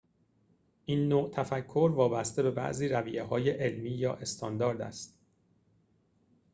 این نوع تفکر وابسته به بعضی رویه‌های علمی یا استاندارد است